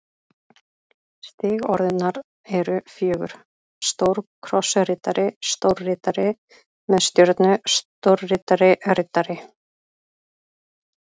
Stig orðunnar eru fjögur: stórkrossriddari stórriddari með stjörnu stórriddari riddari